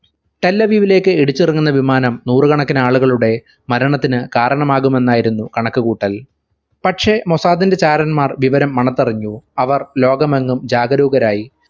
തല്ലവ്യുവിലേക് ഇടിച്ചിറങ്ങുന്ന വിമാനം നൂറു കണക്കിന് ആളുകളുടെ മരണത്തിനു കാരണമാകും എന്നായിരുന്നു കണക്കു കൂട്ടൽ പക്ഷെ മൊസാദിന്റെ ചാരന്മാർ വിവരം മണത്തറിഞ്ഞു അവർ ലോകമെങ്ങും ജാഗരൂപരായി